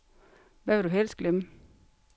Hvad vil du helst glemme?